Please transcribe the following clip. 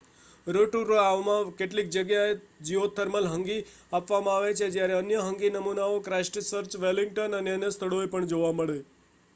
રોટોરુઆમાં કેટલીક જગ્યાએ geothermal hangi આપવામાં આવે છે જ્યારે અન્ય હંગી નમૂનાઓ ક્રાઇસ્ટચર્ચ વેલિંગ્ટન અને અન્ય સ્થળોએ પણ જોવા મળે